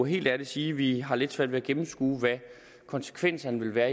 helt ærligt sige at vi har lidt svært ved at gennemskue hvad konsekvenserne vil være